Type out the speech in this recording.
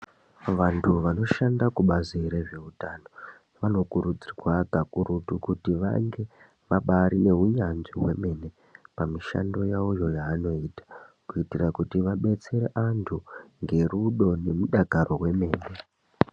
Vantu vanoshanda kubazi rezveutano vanokuridzirwa kakurutu kuti vange vabari neunyanzvi hwemene pamishando yavoyo yavanoita. Kuitira kuti vabetsere antu ngerudo nemudakaro wemene.